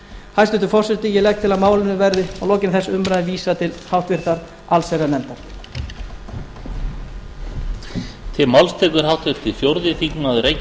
hæstvirtur forseti ég legg til að málinu verði að lokinni þessari umræðu vísað til annarrar umræðu og háttvirtrar allsherjarnefndar